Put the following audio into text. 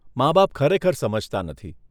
માબાપ ખરેખર સમજતા નથી.